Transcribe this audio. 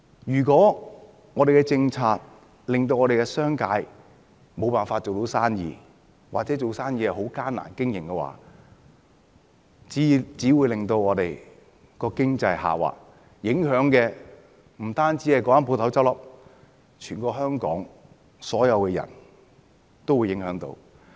如果我們的政策令商界無法做生意，或者生意經營困難的話，只會令我們的經濟下滑，不止影響到該間公司結業，全香港所有人也會受影響。